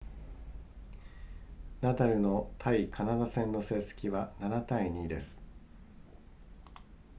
ナダルの対カナダ戦の戦績は 7-2 です